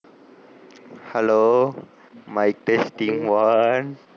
Hello mic testing one